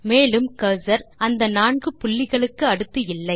மேலும் கர்சர் அந்த நான்கு புள்ளிகளுக்கு அடுத்து இல்லை